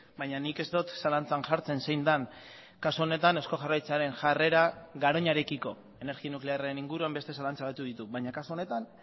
baina nik ez dut zalantzan jartzen zein den kasu honetan eusko jaurlaritzaren jarrera garoñarekiko energia nuklearraren inguruan beste zalantza batzuk ditut baina kasu honetan